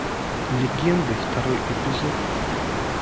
легенды второй эпизод